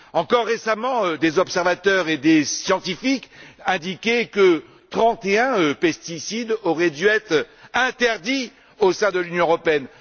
Encore récemment, des observateurs et des scientifiques indiquaient que 31 pesticides auraient dû être interdits au sein de l'Union européenne.